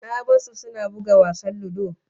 Na bar su suna buga wasan ludo